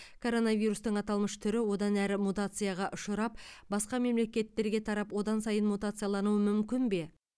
коронавирустың аталмыш түрі одан әрі мутацияға ұшырап басқа мемлекеттерге тарап одан сайын мутациялануы мүмкін бе